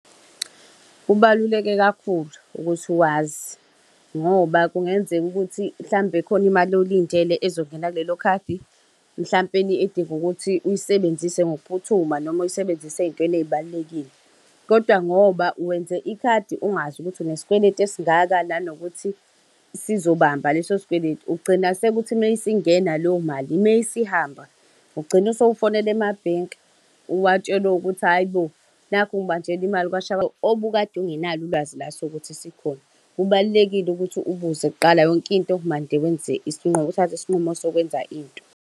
Kubaluleke kakhulu ukuthi wazi ngoba kungenzeka ukuthi mhlawumbe khona imali oyilindele ezongena kulelo khadi. Mhlampeni edinga ukuthi uyisebenzise ngokuphuthuma noma uyisebenzise ey'ntweni ey'balulekile. Kodwa ngoba wenze ikhadi ungazi ukuthi unesikweletu esingaka, nanokuthi sizobamba leso sikweletu. Ugcina sekuthi mase ingena leyo mali mesihamba, ugcine sewufonela emabhenki, uwatshela ukuthi hhayi bo! Nakhu ngibanjelwa imali obukade ungenalo ulwazi laso ukuthi sikhona. Kubalulekile ukuthi ubuze kuqala yonke into, mande wenze , uthathe isinqumo sokwenza into.